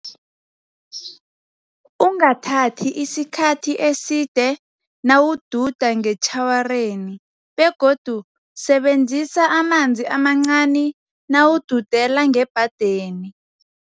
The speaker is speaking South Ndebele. Ungathathi isikhathi eside nawududa ngetjhawareni, begodu sebenzisa amanzi amancani nawududela ngebhadeni.